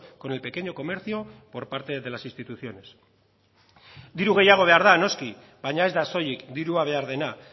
con el pequeño comercio por parte de las instituciones diru gehiago behar da noski baina ez da soilik dirua behar dena